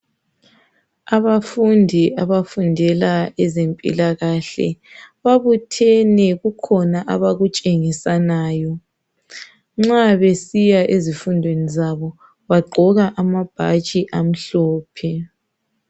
Abafundi abafundela ezempila kahle babuthene kukhona abakutshengisanayo, nxa besiyafundela ezempilakahle bagqoka amabhatshi amhlophe